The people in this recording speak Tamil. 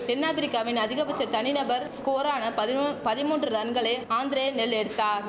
தென் ஆப்பிரிக்காவின் அதிகபட்ச தனி நபர் ஸ்கோரான பதினொ பதிமூன்று ரன்களை ஆந்திரே நெல் எடுத்தார்